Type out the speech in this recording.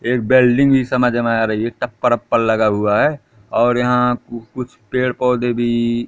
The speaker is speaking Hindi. एक वेल्डिंग भी समझ में आ रही है टप्पर वप्पर लगा हुआ है और यहाँ कु कुछ पेड़-पौधे भी --